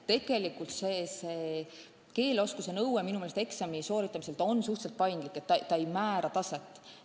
Tegelikult on keeleoskuse nõue eksami sooritamisel minu meelest suhteliselt paindlik, ta ei nõua kõrget taset.